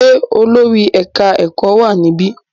Ṣé olórí ẹ̀ka-ẹ̀kọ́ wà níbí?